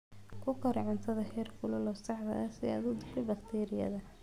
Ku kari cuntada heerkulka saxda ah si aad u disho bakteeriyada.